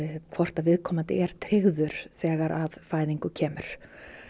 hvort viðkomandi er tryggður þegar að fæðingu kemur